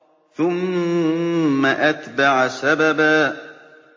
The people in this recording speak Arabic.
ثُمَّ أَتْبَعَ سَبَبًا